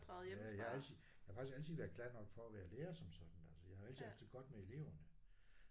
Ja jeg har altid jeg har faktisk altid været glad nok for at være lære som sådan altså jeg har altid haft det godt med eleverne